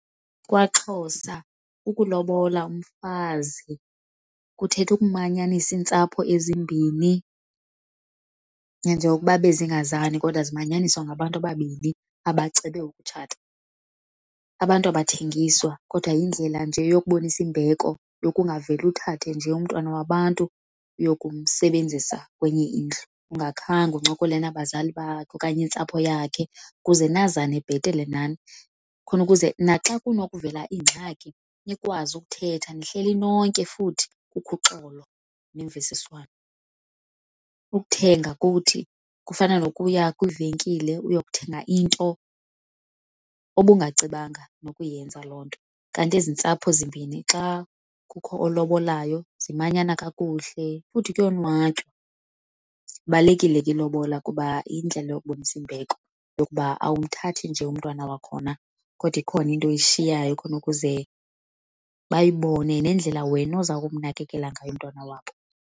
KwaXhosa ukulobola umfazi kuthetha ukumanyanisa iintsapho ezimbini nanjengokuba bezingazani kodwa zimanyaniswa ngabantu ababini abacebe ukutshata. Abantu abathengiswa kodwa yindlela nje yokubonisa imbeko yokungaveli uthathe nje umntwana wabantu uyokumsebenzisa kwenye indlu ungakhange uncokole nabazali bakhe okanye intsapho yakhe ukuze nazane bhetele nani. Khona ukuze naxa kunokuvela ingxaki nikwazi ukuthetha nihleli nonke futhi kukho uxolo nemvisiswano. Ukuthenga kuthi kufana nokuya kwivenkile uyokuthenga into obungacebanga nokuyenza loo nto. Kanti ezi ntsapho zimbini xa kukho olobolayo zimanyana kakuhle futhi kuyonwatywa. Ibalulekile ke ilobola kuba yindlela yokubonisa imbeko yokuba awumthathi nje umntwana wakhona kodwa ikhona into oyishiyayo khona ukuze bayibone nendlela wena oza kumnakekela ngayo umntwana wabo.